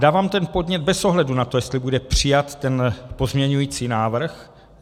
Dávám ten podnět bez ohledu na to, jestli bude přijat ten pozměňovací návrh.